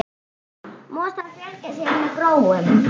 Mosar fjölga sér með gróum.